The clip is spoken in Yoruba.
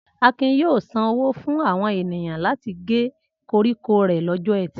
Akin yóò sanwó fún àwọn ènìyàn láti gé koríko rẹ̀ lọ́jọ́ ẹtì.